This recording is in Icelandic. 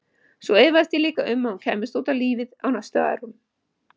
Og svo efaðist ég líka um að hún kæmist út í lífið á næstu árum.